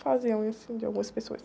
Fazia unha, assim, de algumas pessoas.